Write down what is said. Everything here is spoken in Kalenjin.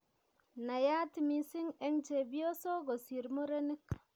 Naiyat mising' eng' chepyosok kosir murenik